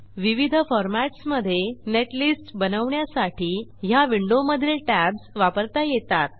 विविध फॉर्मॅट्स मधे नेटलिस्ट बनवण्यासाठी ह्या विंडोमधील टॅब्ज वापरता येतात